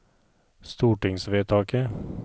stortingsvedtaket